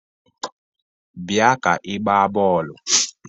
Bia ka ị gbaa bọọlụ!